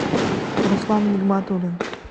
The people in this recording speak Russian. руслан нигматуллин